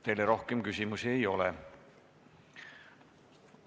Teile rohkem küsimusi ei ole.